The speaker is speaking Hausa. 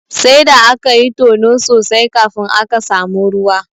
Sai da akayi tono sosai kafin aka samu ruwa.